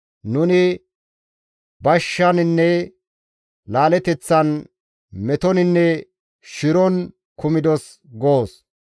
Nuni bashshaninne laaleteththan metoninne shiron kumdos» goos.